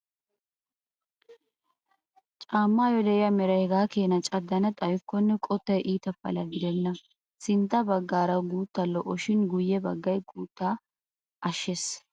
Caammaayyo de'iyaa meray hegaa Keena caddana xayyikkonne qottay iita Pala gidenna. Sintta baggaara guttaa lo"o shin guyye baggay guuttaa ashshees.